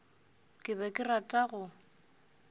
ke be ke rata go